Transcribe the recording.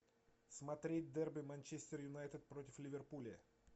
смотреть дерби манчестер юнайтед против ливерпуля